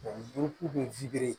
bɛ